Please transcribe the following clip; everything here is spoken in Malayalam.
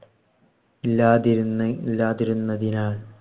ഇല്ലാതിരുന്ന് ഇല്ലാതിരുന്നതിനാൽ